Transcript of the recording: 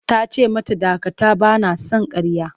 Ta ce mata dakata! Ba na son ƙarya.